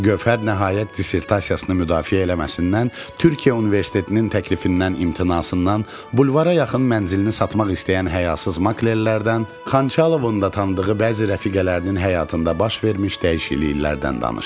Gövhər nəhayət dissertasiyasını müdafiə eləməsindən, Türkiyə universitetinin təklifindən imtinasından, bulvara yaxın mənzilini satmaq istəyən həyasız maklerlərdən, Xançalovun da tanıdığı bəzi rəfiqələrinin həyatında baş vermiş dəyişikliklərdən danışdı.